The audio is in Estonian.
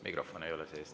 Mikrofon ei ole sees.